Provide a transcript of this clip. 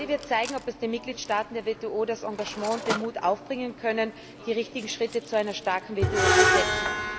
Bali wird zeigen, ob die Mitgliedstaaten der WTO das Engagement und den Mut aufbringen können, die richtigen Schritte zu einer starken WTO zu setzen.